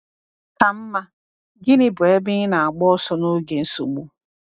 Ka mma, gịnị bụ ebe ị na-agba ọsọ n’oge nsogbu?